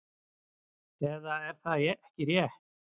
Eða er það ekki rétt?